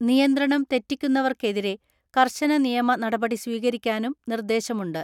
നിയന്ത്രണം തെറ്റിക്കുന്നവർക്കെതിരെ കർശന നിയമ നടപടി സ്വീകരിക്കാനും നിർദേശമുണ്ട്.